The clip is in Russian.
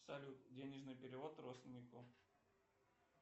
салют денежный перевод родственнику